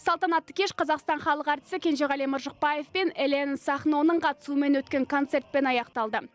салтанатты кеш қазақстан халық әртісі кенжеғали мыржықпаев пен элена сахноның қатысуымен өткен концертпен аяқталды